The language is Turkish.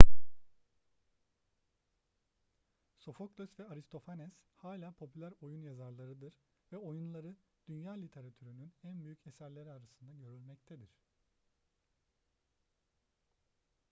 sofokles ve aristofanes hala popüler oyun yazarlarıdır ve oyunları dünya literatürünün en büyük eserleri arasında görülmektedir